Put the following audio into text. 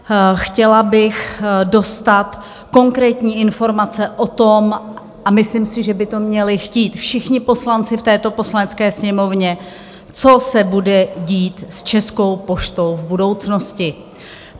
Chtěla bych dostat konkrétní informace o tom - a myslím si, že by to měli chtít všichni poslanci v této Poslanecké sněmovně - co se bude dít s Českou poštou v budoucnosti.